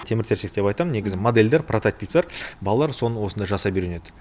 темір терсек деп айтам негізі модельдер прототиптер балалар соны осында жасап үйренеді